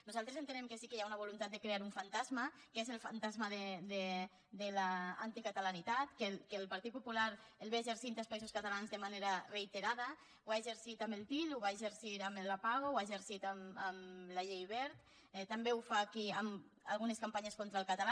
nosaltres entenem que sí que hi ha una voluntat de crear un fantasma que és el fantasma de l’anticatalanitat que el partit popular l’exerceix als països catalans de manera reiterada ho ha exercit amb el til ho va exercir amb el lapao ho ha exercit amb la llei wert també ho fa aquí amb algunes campanyes contra el català